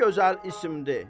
Nə gözəl isimdir.